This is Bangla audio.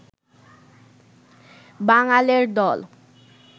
বাঙালের দল